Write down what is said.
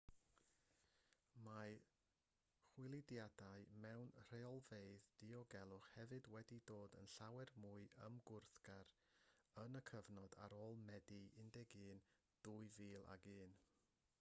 mae chwiliadau mewn rheolfeydd diogelwch hefyd wedi dod yn llawer mwy ymwthgar yn y cyfnod ar ôl medi 11 2001